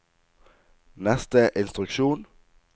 neste instruksjon